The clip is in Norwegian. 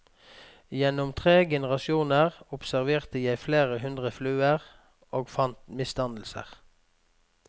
Gjennom tre generasjoner observerte jeg flere hundre fluer, og fant misdannelser.